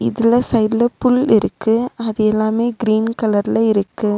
இதுல சைடுல புல் இருக்கு அது எல்லாமே கிரீன் கலர்ல இருக்கு.